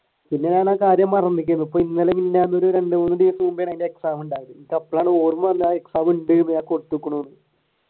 പിന്നെ ഞാൻ ആ കാര്യം മറന്നിരിക്കുകയാണ് ഇപ്പൊ ഇന്നലെ മിനിനാന്ന് ഒരു രണ്ടു മൂന്ന് ദിവസം മുൻപേ അതിന്റെ exam ഉണ്ടായി അപ്പോളാണ് ഓർമവന്നത് ആ exam ഉണ്ട് എന്ന്